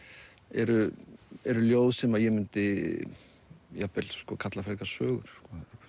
eru eru ljóð sem ég mundi jafnvel kalla frekar sögur